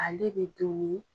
Ale be domun ni